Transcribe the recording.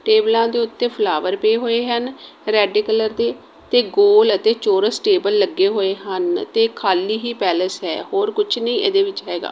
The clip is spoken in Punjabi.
ਟੇਬਲਾਂ ਦੇ ਓੱਤੇ ਫਲਾਵਰ ਪਏ ਹੋਏ ਹਨ ਰੈੱਡ ਕਲਰ ਦੇ ਤੇ ਗੋਲ ਅਤੇ ਚੌਰਸ ਟੇਬਲ ਲੱਗੇ ਹੋਏ ਹਨ ਤੇ ਖਾਲੀ ਹੀ ਪੈਲੇਸ ਹੈ ਹੋਰ ਕੁੱਛ ਨੀਂ ਇਹਦੇ ਵਿੱਚ ਹੈਗਾ।